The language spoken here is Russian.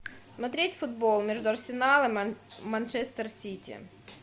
смотреть футбол между арсеналом манчестер сити